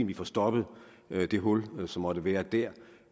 vi får stoppet det hul som måtte være dér